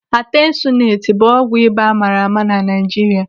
Atensuneti bụ ọgwụ ịba amaara ama na Naijiria.